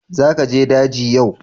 Za ka je daji yau?